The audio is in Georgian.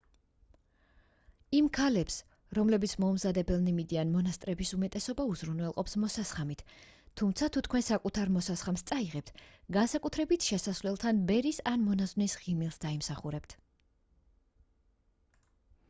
იმ ქალებს რომლებიც მოუმზადებელნი მიდიან მონასტრების უმეტესობა უზრუნველყოფს მოსასხამით თუმცა თუ თქვენ საკუთარ მოსასხამს წაიღებთ განსაკუთრებით შესასვლელთან ბერის ან მონაზონის ღიმილს დაიმსახურებთ